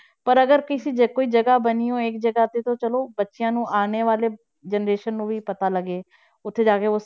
ਪਰ ਅਗਰ ਕਿਸੇ ਜੇ ਕੋਈ ਜਗ੍ਹਾ ਬਣੀ ਹੋਏਗੀ ਜਗ੍ਹਾ ਤੇ ਤਾਂ ਚਲੋ ਬੱਚਿਆਂ ਨੂੰ ਆਉਣ ਵਾਲੇ generation ਨੂੰ ਵੀ ਪਤਾ ਲੱਗੇ ਉੱਥੇ ਜਾ ਕੇ,